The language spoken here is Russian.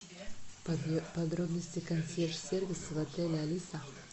подробности консьерж сервиса в отеле алиса